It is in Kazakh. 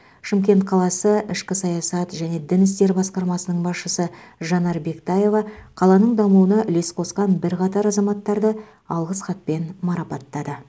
шымкент қаласы ішкі саясат және дін істері басқармасының басшысы жанар бектаева қаланың дамуына үлес қосқан бірқатар азаматтарды алғыс хатпен марапаттады